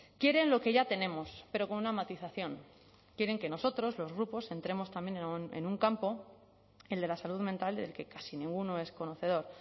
quieren lo que ya tenemos pero con una matización quieren que nosotros los grupos entremos también en un campo el de la salud mental del que casi ninguno es conocedor